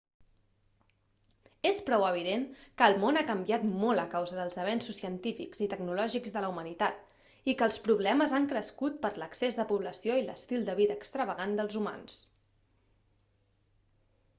és prou evident que el món ha canviat molt a causa dels avenços científics i tecnològics de la humanitat i que els problemes han crescut per l'excés de població i l'estil de vida extravagant dels humans